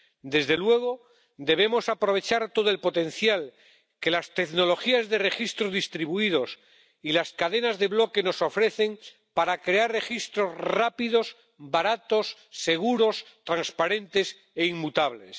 Desde luego, debemos aprovechar todo el potencial que las tecnologías de registros distribuidos y las cadenas de bloques nos ofrecen para crear registros rápidos, baratos, seguros, transparentes e inmutables.